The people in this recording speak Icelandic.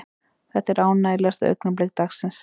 Þetta er ánægjulegasta augnablik dagsins.